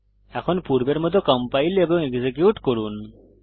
এখন পূর্বের মত কম্পাইল এবং এক্সিকিউট করুন